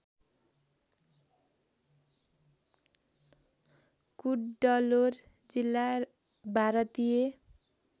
कुड्डलोर जिल्ला भारतीय